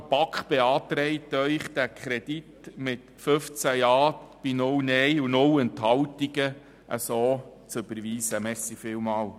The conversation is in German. Die BaK beantragt Ihnen mit 15 Ja- gegen 0 Nein-Stimmen bei 0 Enthaltungen, diesen Kredit zu bewilligen.